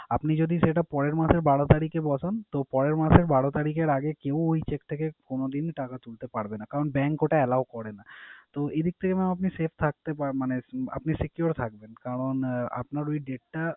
আপনি যদি সেটা পরের মাসে বারো তারিখে বসান, তো পরের মাসের বারো তারিখের আগে কেউ ওই cheque থেকে কোনদিন ই টাকা তুলতে পারবে না। কারণ bank ওটা allow করে না। তো এ দিক থেকে mam আপনি safe থাকতে পারেন মানে আপনি secure থাকবেন। কারণ আহ আপনার ওই date টা,